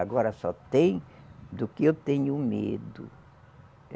Agora só tem do que eu tenho medo.